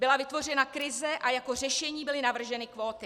Byla vytvořena krize a jako řešení byly navrženy kvóty.